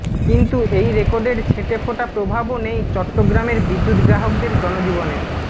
কিন্তু এই রেকর্ডের ছিঁটে ফোটা প্রভাবও নেই চট্টগ্রামের বিদ্যুৎ গ্রাহকদের জনজীবনে